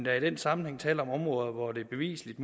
er i den sammenhæng tale om områder hvor det bevisligt